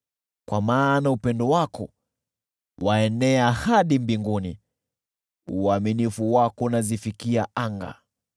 Kwa maana upendo wako ni mkuu, waenea hadi mbinguni, uaminifu wako unazifikia anga.